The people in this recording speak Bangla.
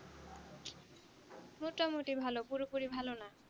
মোটামোটি ভালো পুরোপুরি ভালো না